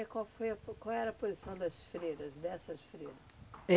E qual foi a po qual era a posição das freiras, dessas freiras?